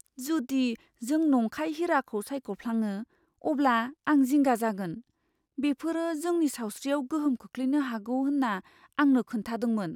जुदि जों नंखाय हिराखौ सायख'फ्लाङो अब्ला आं जिंगा जागोन। बेफोरो जोंनि सावस्रियाव गोहोम खोख्लैनो हागौ होन्ना आंनो खोन्थादोंमोन।